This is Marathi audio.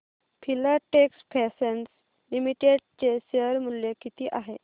फिलाटेक्स फॅशन्स लिमिटेड चे शेअर मूल्य किती आहे